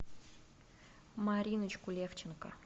мариночку левченко